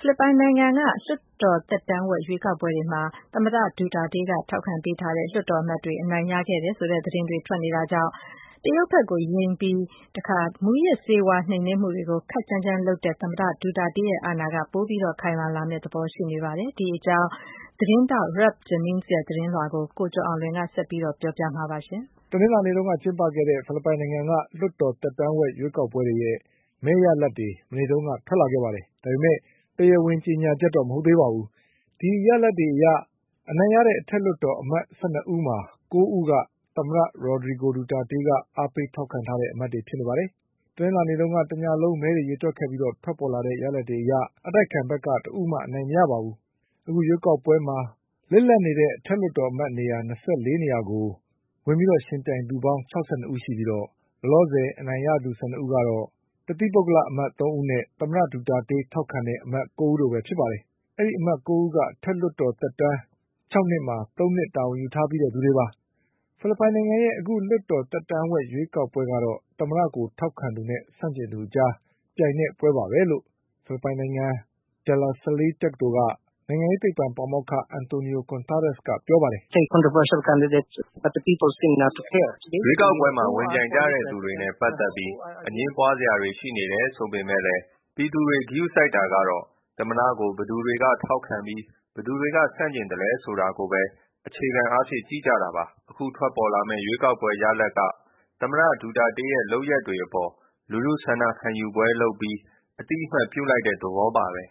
ဖိလစ်ပိုင်နိုင်ငံက လွှတ်တော်သက်တမ်းဝက်ရွေးကောက်ပွဲတွေမှာ သမ္မတဒူတာတေးက ထောက်ခံ ပေးထားတဲ့လွှတ်တော် အမတ်တွေက အနိုင်ရခဲ့တယ်ဆိုတဲ့သတင်းတွေထွက်နေတာကြောင့် တရုတ်ဘက်ကို ယိမ်းပြီး မူးယစ်ဆေးဝါးနှိမ်နင်းမှု တွေကိုခပ်ကြမ်းကြမ်းလုပ်တဲ့ သမ္မတဒူတာတေးရဲ့ အာဏာက ပိုပြီးခိုင်မာလာမယ့်သဘောရှိနေပါတယ်။ ဒီအကြောင်း Ralph Jennings ရဲ့သတင်းကို ကိုကျော်အောင်လွင် ဆက်ပြောပါလိမ့်မယ်။ တနင်္လာနေ့က ကျင်းပခဲ့တဲ့ ဖိလစ်ပိုင်နိုင်ငံက လွှတ်တော်သက်တမ်းဝက်ရွေးကောက်ပွဲတွေရဲ့ မဲရလဒ်တွေ မနေ့ကထွက် လာခဲ့ပါတယ်။ ဒါပေမဲ့ တရားဝင်ကြေညာချက်တော့ မဟုတ်သေးပါဘူး။ ဒီရလဒ်တွေအရ အနိုင်ရတဲ့ အထက်လွှတ်တော် အမတ်၁၂ ဦးမှာ ၉ဦးက သမ္မတ Rodrigo Duterte က အားပေးထောက်ခံထားတဲ့ အမတ်တွေဖြစ်ပါတယ်။ တနင်္လာနေ့ညက တညလုံးမဲတွေကိုရေတွက်ခဲ့ပြီးထွက်ပေါ်လာတဲ့ ရလဒ်တွေအရ အတိုက်အခံဘက်က တဦးမှအနိုင်မရပါဘူး။ အခုရွေး ကောက်ပွဲမှာ လစ်လပ်နေတဲ့ အထက်လွှတ်တော်အမတ် ၂၄နေရာကို ဝင်ပြီးယှဉ်ပြိုင်သူပေါင်း ၆၂ဦးရှိပြီး လောလောဆယ် အနိုင်ရသူ ၁၂ဦးကတော့ တသီး ပုဂ္ဂလ အမတ်သုံးဦးနဲ့ သမ္မတဒူတာတေး ထောက်ခံတဲ့ အမတ် ၉ဦးတို့ပဲဖြစ်ပါတယ်။ အဲဒီအမတ် ၉ဦးက အထက်လွှတ်တော် အမတ်သက်တမ်း၆နှစ်မှာ သုံးနှစ်တာဝန် ယူထားပြီးသူတွေပါ။ ဖိလစ်ပိုင်နိုင်ငံရဲ့ အခုလွှတ်တော်သက်တမ်းဝက်ရွေးကောက်ပွဲ ကတော့ သမ္မတကိုထောက်ခံသ ူနဲ့ဆန့် ကျင်သူအကြား ပြိုင်တဲ့ပွဲပါပဲလို့ ဖိလစ်ပိုင်နိုင်ငံ De La Salle တက္ကသိုလ်က နိုင်ငံ ရေးသိပ္ပံပါမောက္ခ Antonio Contreras ကပြောပါတယ်။ “ရွေးကောက်ပွဲမှာ ဝင်ပြိုင်ကြတဲ့သူတွေနဲ့ပတ်သက်ပြီး အငြင်းပွားစရာတွေရှိနေတယ်ဆိုပေမဲ့လည်း ပြည်သူတွေ ကရုစိုက် တာကတော့ သမ္မတကို ဘယ်သူတွေက ထောက်ခံပြီး ဘယ်သူတွေက ဆန့်ကျင်သလဲဆိုတာကိုပဲ အခြေခံအားဖြင့်ကြည့် ကြတာပါ။ အခုထွက်ပေါ်လာမယ့် ရွေးကောက်ပွဲရလဒ်က သမ္မတဒူတာတေးရဲ့လုပ်ရပ်တွေအပေါ် လူထုဆန္ဒခံယူပွဲလုပ် ပြီး အသိအမှတ်ပြုလိုက်တဲ့ သဘောပါပဲ”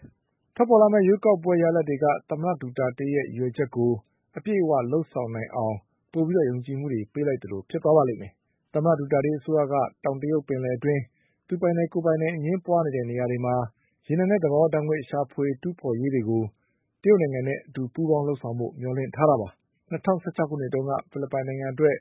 ထွက်ပေါ်လာမယ့်ရွေးကောက်ပွဲရလဒ်တွေက သမ္မတဒူတာတေးရဲ့ ရည်ရွယ်ချက်တွေကို အပြည့်အဝလုပ်ဆောင်နိုင်အောင် ပိုပြီးယုံကြည်မှုတွေပေးလိုက်သလိုဖြစ်သွားပါလိမ့်မယ်။ သမ္မတဒူတာတေး အစိုးရက တောင်တရုတ်ပင်လယ် အတွင်း သူပိုင်တယ်၊ ကိုယ်ပိုင်တယ်အငြင်းပွားနေတဲ့နေရာတွေမှာ ရေနံနဲ့သဘာဝဓါတ်ငွေ့ရှာဖွေတူးဖေါ်ရေးတွေကို တရုတ် နိုင်ငံနဲ့အတူပူးပေါင်းလုပ်ဆောင်ဖို့မျှော်လင့်ထားတာပါ။ ၂၀၁၆ခုနှစ်တုန်းက ဖိလစ်ပိုင်နိုင်ငံအတွက်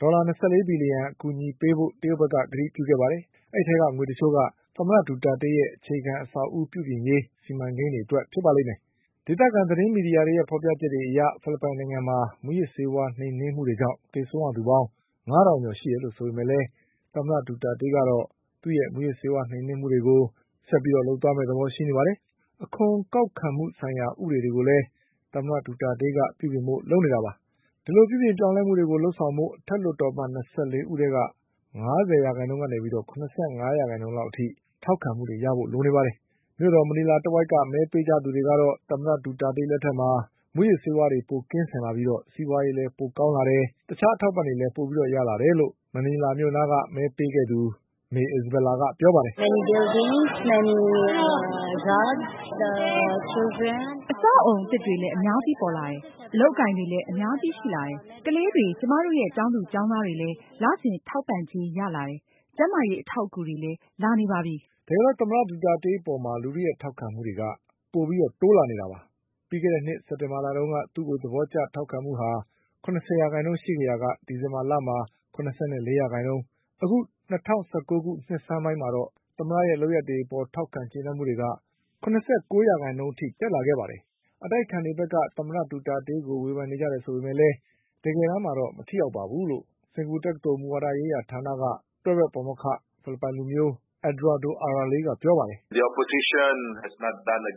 ဒေါ်လာ၂၄ဘီလျှံ အကူအညီပေးဖို့ တရုတ်က ကတိပြုခဲ့ပါတယ်။ အဲဒီအထဲကငွေတချို့က သမ္မတဒူတာတေးရဲ့ အခြေခံ အဆောက်အဦး ပြုပြင်ရေးစီမံကိန်း တွေအတွက်ဖြစ်ပါလိမ့်မယ်။ ဒေသခံသတင်းမီဒီယာတွေရဲ့ဖေါ်ပြချက်တွေအရေ ဖိလစ်ပိုင်နိုင်ငံမှာ မူးယစ်ဆေးဝါးနှိမ်နင်း မှုတွေကြောင့်သေဆုံးရသူပေါင်း ငါးထောင်ကျော် ရှိတယ်လို့ဆိုပေမဲ့လည်း သမ္မတဒူတာတေးကတော့ သူ့ရဲ့ မူးယစ်ဆေး ဝါးနှိမ်နင်းမ ှုလုပ်ငန်းတွေကိုဆက်ပြီးလုပ်သွားမယ့်သဘောရှိနေပါတယ်။ အခွန်ကောက်ခံမှုဆိုင်ရာဥပဒေတွေကိုလည်း သမ္မတဒူတာတေးက ပြုပြင်ဖို့လုပ်နေပါတယ်။ ဒီလိုပြုပြင်ပြောင်းလဲမှုတွေ လုပ်ဆောင်ဖို့ အထက်လွှတ်တော်အမတ်၂၄ဦးထဲ က ငါးဆယ်ရာခိုင်နှုန်းကနေ ၇၅ရာခိုင်နှုန်းအထိထောက်ခံမှု တွေရဖို့လိုပါတယ်။ မြို့တော် မနီလာတဝိုက်က မဲပေးသူတွေ ကတော့ သမ္မတဒူတာတေးလက်ထက်မှာ မူးယစ်ဆေးဝါးတွေပိုကင်းစင်ပြီး စီးပွားရေးလည်းပိုကောင်းလာတယ်၊ တခြားအထောက် အပံ့တွေလည်းရလာတယ်လို့ မဲပေးခဲ့တဲ့ မနီလာမြို့နားက May Isabela ကပြောပါတယ်။ “အဆောက်အဦးအသစ်တွေလည်း အများကြီးပေါ်လာတယ်၊ အလုပ်အကိုင်တွေလည်း အများကြီးရှိလာတယ်။ ကလေး တွေ ကျမတို့ရဲ့ကျောင်းသူကျောင်းသားတွေလည်း လစဉ် ထောက်ပံ့ကြေးရလာတယ်။ ကျန်းမာရေးအထောက်အကူ တွေ လည်းလာနေပါပြီ” တကယ်တော့ သမ္မတဒူတာတေး အပေါ်လူထုရဲ့ ထောက်ခံမှုတွေက တိုးနေတာပါ။ ပြီးခဲ့တဲ့နှစ် စက်တင်ဘာလတုန်းက သူ့ကိုသဘောထောက်ခံမှုက ၇၀ရာနှုန်း ရှိခဲ့ရာက ဒီဇင်ဘာမှာ ၇၄ရာခိုင်နှုန်းနဲ့ အခု၂၀၁၉နှစ်ဆန်းပိုင်းမှာတော့ သမ္မတရဲ့လုပ်ရပ် တွေအပေါ် ထောက်ခံကျေနပ်မှု တွေက ၇၉ရာခိုင်နှုန်း အထိတက်လာခဲ့ပါတယ်။ အတိုက်အခံတွေဘက်က သမ္မတဒူတာ တေးကို ဝေဖန်နေကြတယ်ဆိုပေမဲ့လည်း တကယ်တမ်းမှာ မထိရောက် ဘူးလို့ စင်္ကာပူတက္ကသိုလ် မူဝါဒရေးရာဌာနက တွဲဘက်ပါမောက္ခ ဖိလစ်ပိုင်လူမျိုး Eduardo Araral ကပြောပါတယ်။ “အတိုက်အခံတွေ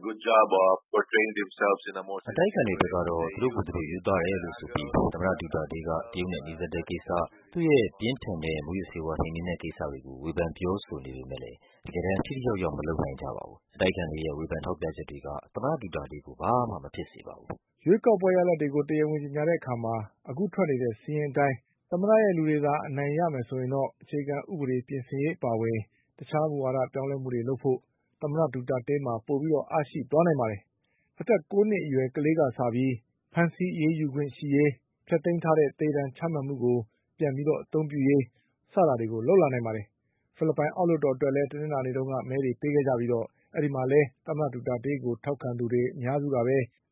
ဘက်ကတော့ သူတို့ကိုယ်သူတို့ရိုးသားတယ်လို့ဆိုပြီး သမ္မတဒူတာတေးက တရုတ်နဲ့ နီးစပ်တဲ့ကိစ္စ၊ သူ့ရဲ့ ပြင်းထန်တဲ့ မူးယစ်ဆေးဝါးနှိမ်နင်းတဲ့ကိစ္စတွေကို ဝေဖန်ပြောဆို နေပေမဲ့လည်း တကယ်တမ်း ထိထိရောက်ရောက် မလုပ်နိုင်ကြပါဘူး။ အတိုက်အခံတွေရဲ့ ဝေဖန်ထောက်ပြချက်တွေက သမ္မတဒူတာတေးကို ဘာမှမဖြစ်စေပါဘူး” ရွေးကောက်ပွဲရလဒ်တွေ တရားဝင်ကြေညာတဲ့အခါ အခုထွက်နေတဲ့စာရင်းအတိုင်း သမ္မတရဲ့ လူတွေသာ အနိုင်ရမယ် ဆိုရင်တော့ အခြေခံဥပဒေပြင်ဆင်ရေးအပါအဝင် တခြား မူဝါဒပြောင်းလဲမှုတွေ လုပ်ဖို့ သမ္မတဒူတာတေးမှာ အားပိုရှိသွား နိုင်ပါတယ်။ အသက် ၉နှစ်အရွယ် ကလေးကစပြီး ဖမ်းဆီးအရေးယူခွင့်ရရေး၊ ဖျက်သိမ်းထားတဲ့ သေဒဏ်ချမှတ်မှုကို ပြန် အသုံးပြုရေး စတာတွေလုပ်လာနိုင်ပါတယ်။ ဖိလစ်ပိုင်အောက်လွှတ်တော်အတွက်လည်း တနင်္လာနေ့က မဲတွေပေးခဲ့ကြပြီး အဲဒီမှာလည်း သမ္မတဒူတာတေးကို ထောက်ခံသူတွေအများစုက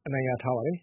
အနိုင်ရ ထားပါတယ်။